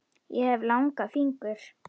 Ég hef langa fingur.